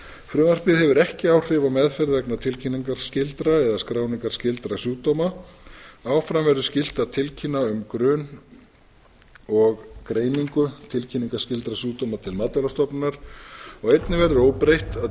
frumvarpið hefur ekki áhrif á meðferð vegna tilkynningarskyldra eða skráningarskyldra sjúkdóma áfram verður skylt að tilkynna um grun eða greiningu á tilkynningarskyldum sjúkdómum til matvælastofnunar einnig verður óbreytt að